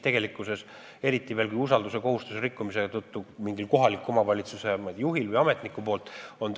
Tegelikkuses on korruptsioonikahju tekitatud, eriti kui usalduskohustust on rikkunud mingi kohaliku omavalitsuse juht või ametnik.